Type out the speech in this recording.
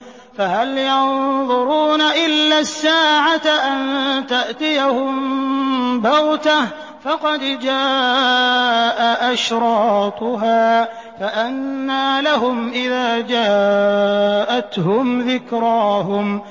فَهَلْ يَنظُرُونَ إِلَّا السَّاعَةَ أَن تَأْتِيَهُم بَغْتَةً ۖ فَقَدْ جَاءَ أَشْرَاطُهَا ۚ فَأَنَّىٰ لَهُمْ إِذَا جَاءَتْهُمْ ذِكْرَاهُمْ